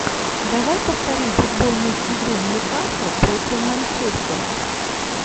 давай повторим футбольную игру ньюкасла против манчестера